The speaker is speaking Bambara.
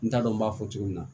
N t'a dɔn n b'a fɔ cogo min na